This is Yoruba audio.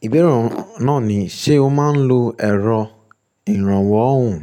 Ìbere náà ni, ṣe o máa ń lo ẹ̀rọ ìrànwọ́ ohùn?